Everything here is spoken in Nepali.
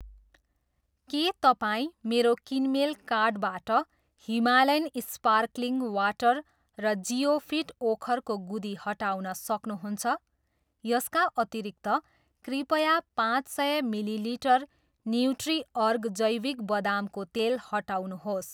के तपाईँ मेरो किनमेल कार्टबाट हिमालयन स्पार्कलिङ वाटर र जिओफिट ओखरको गुदी हटाउन सक्नुहुन्छ? यसका अतिरिक्त, कृपया पाँच सय मिलिलिटर न्युट्रिअर्ग जैविक बदामको तेल हटाउनुहोस्।